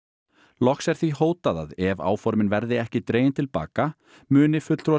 loks er því hótað að ef áformin verði ekki dregin til baka muni fulltrúar